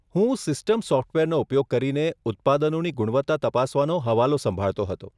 હું સિસ્ટમ સોફ્ટવેરનો ઉપયોગ કરીને ઉત્પાદનોની ગુણવત્તા તપાસવાનો હવાલો સંભાળતો હતો.